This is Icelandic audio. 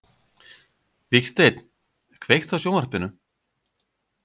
Vígsteinn, kveiktu á sjónvarpinu.